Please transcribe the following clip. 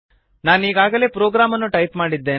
ನಾನೀಗಾಗಲೇ programme ಅನ್ನು type ಮಾಡಿದ್ದೇನೆ